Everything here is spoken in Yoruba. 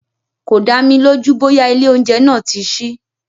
Kò dámi lójú bóyá ilé oúnjẹ náà tí sí.